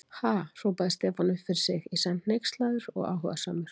Ha?! hrópaði Stefán upp fyrir sig, í senn hneykslaður og áhugasamur.